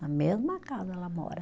Na mesma casa ela mora.